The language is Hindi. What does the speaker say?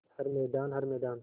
हर मैदान हर मैदान